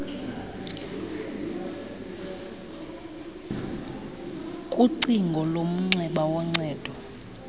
kucingo lomnxeba woncedo